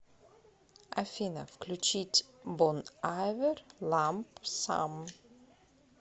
афина включить бон айвер ламп сам